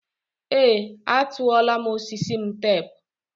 ee, atụọla m osisi m teepu.